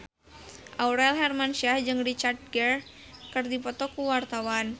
Aurel Hermansyah jeung Richard Gere keur dipoto ku wartawan